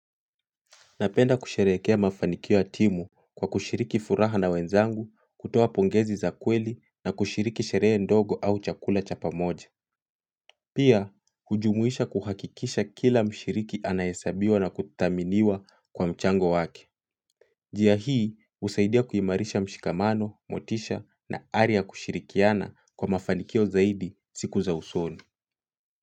Napenda kusherehekea mafanikio ya timu kwa kushiriki furaha na wenzangu, kutoa pongezi za kweli na kushiriki sherehe ndogo au chakula cha pamoja. Pia, kujumuisha kuhakikisha kila mshiriki anahesabiwa na kuthaminiwa kwa mchango wake. Jia hii, usaidia kuimarisha mshikamano, motisha na ari ya kushirikiana kwa mafanikio zaidi siku za usoni.